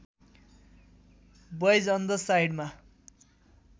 boys on the साइडमा